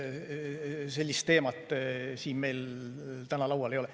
Sellist teemat siin meil täna laual ei ole.